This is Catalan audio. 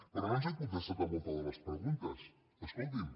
però no ens ha contestat a moltes de les preguntes escolti’m